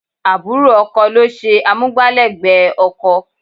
Àbúrò ọkọ ló ṣe amúgbálẹ́gbẹ̀ẹ́ ọkọ.